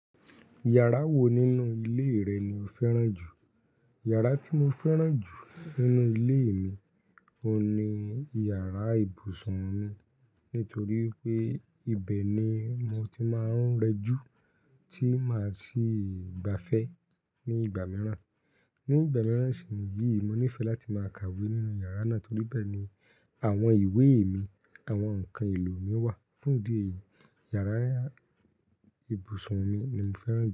Yàrá wo nínú ilé rẹ ni o fẹ́ràn jù? Yàrá tí mo fẹ́ràn jù nínú ilé mi, o ni yàrá ibùsùn mi. Nítorí pé ibẹ̀ ni mo ti máa ń rẹjú, tí máa sì gbafẹ́ ní ìgbà mìíràn. Ní ìgbà mìíràn sì ni yìí, mo nífẹ̀ẹ́ láti máa kàwé nínú yàrá náà torí bẹ́ẹ̀ ni àwọn ìwé mi, àwọn ǹkan èlò mi wà. Fún ìdí èyí, yàrá ibùsùn mi ni mo fẹ́ràn jù.